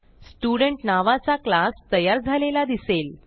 student नावाचा class तयार झालेला दिसेल